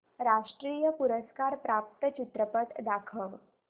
राष्ट्रीय पुरस्कार प्राप्त चित्रपट दाखव